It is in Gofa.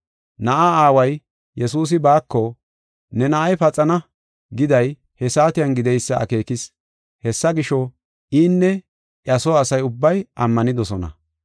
Na7aa aaway Yesuusi baako, “Ne na7ay paxana” giday he saatiyan gideysa akeekis. Hessa gisho, inne iya soo asa ubbay ammanidosona.